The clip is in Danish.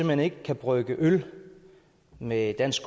hen ikke kan brygge øl med dansk